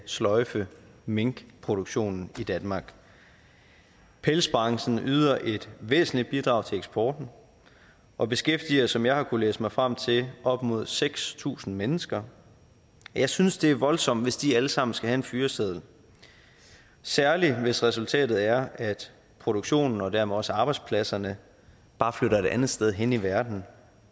sløjfe minkproduktionen i danmark pelsbranchen yder et væsentligt bidrag til eksporten og beskæftiger som jeg har kunne læse mig frem til op mod seks tusind mennesker jeg synes det er voldsomt hvis de alle sammen skal have en fyreseddel særlig hvis resultatet er at produktionen og dermed også arbejdspladserne bare flytter et andet sted hen i verden